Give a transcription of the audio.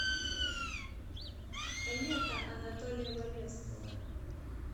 лето анатолия валевского